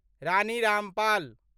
Rani Rampal